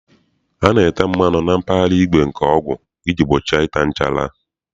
A na-ete mmanụ na mpaghara igwe nke ọgụ iji gbochie ịta nchara.